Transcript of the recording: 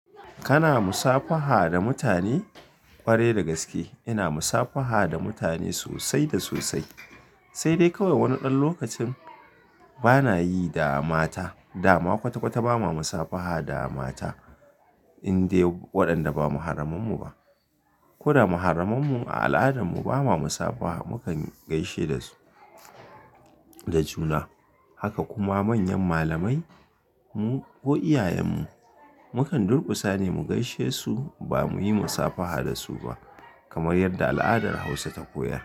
Kana musafaha da mutane? Ƙwarai da gaske. Ina musafaha da mutane sosai da sosai, sai dai kawai wani ɗan lokacin bana yi da mata. Da ma kwata-kwata ba ma musafaha da mata in dai waɗanda ba muharraman mu ba. Ko da muharraman mu a al'adarmu ba ma musafaha, mu kan gaishe da su da juna. Haka kuma manyan malamai mu ko iyayen mu mu kan durƙusa ne mu gaishe su ba muyi musafaha da su ba kamar yadda al'adar Hausa ta koyar.